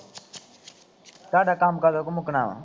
ਤੁਹਾਡਾ ਕੰਮ ਕਦੋਂ ਕਾ ਮੁੱਕਣਾ ਵਾ